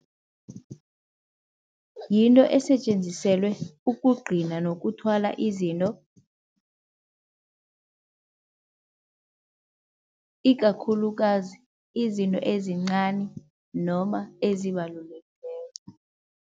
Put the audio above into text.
Yinto esetjenziselwe ukugcina nokuthwala izinto, ikakhulukazi izinto ezincani noma ezibalulekileko.